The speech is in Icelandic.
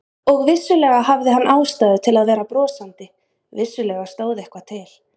Og vissulega hafði hann ástæðu til að vera brosandi, vissulega stóð eitthvað til.